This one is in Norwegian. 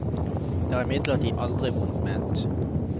Det er imidlertid aldri vondt ment.